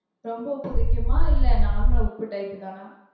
ரொம்ப உப்பு கரிக்குமா? இல்ல normal உப்பு type தானா?